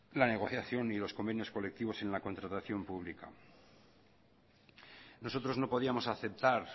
la negociación y los convenios colectivos en la contratación pública nosotros no podíamos aceptar